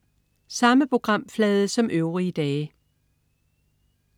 Samme programflade som øvrige dage